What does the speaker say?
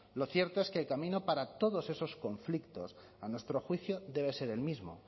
lo cierto es que el camino para todos esos conflictos a nuestro juicio debe ser el mismo